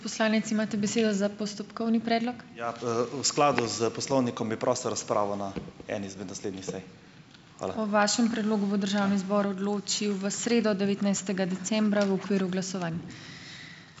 Ja, v skladu s poslovnikom bi prosil razpravo na eni izmed naslednjih sej. Hvala.